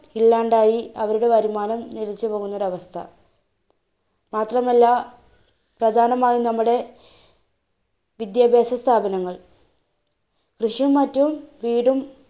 ഇല്ലാണ്ടായി അവരുടെ വരുമാനം നിലച്ചുപോവുന്നൊരവസ്ഥ. മാത്രമല്ല, പ്രധാനമായി നമ്മുടെ വിദ്യാഭാസസ്ഥാപനങ്ങൾ, കൃഷിയും മറ്റു വീടും